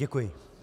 Děkuji.